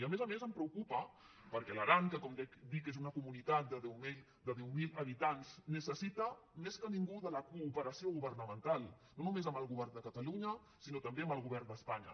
i a més a més em preocupa perquè l’aran que com dic és una comunitat de deu mil habitants necessita més que ningú la cooperació governamental no no·més amb el govern de catalunya sinó també amb el govern d’espanya